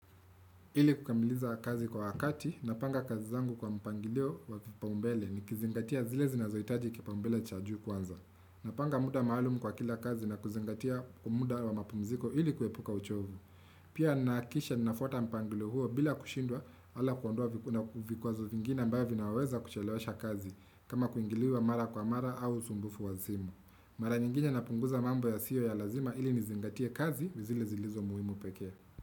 Ili kukamiliza kazi kwa wakati, napanga kazi zangu kwa mpangilio waki paumbele ni kizingatia zile zinazoitaji kipaumbele cha juu kwanza. Napanga muda maaalumu kwa kila kazi na kizingatia umuda wa mapumziko ili kuepuka uchovu. Pia nakisha nafota mpangilio huo bila kushindwa ala kuondua vikuwa zo vingine mbao vinaweza kuchelewasha kazi kama kuingiliwa mara kwa mara au sumbufu wazimu. Mara nyinginye napunguza mambo ya sio ya lazima ili nizingatia kazi zile zilizo muhimu pekea.